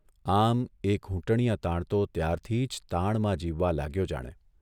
આમ એ ઘૂંટણિયા તાણતો ત્યારથી જ તાણમાં જીવવા લાગ્યો જાણે !